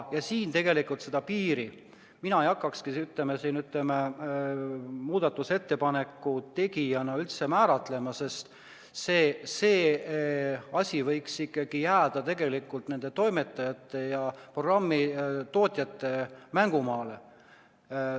Ja siin tegelikult mina seda piiri ei hakkakski muudatusettepaneku tegijana määrama, see asi võiks ikkagi jääda toimetajate ja programmi tootjate mängumaale.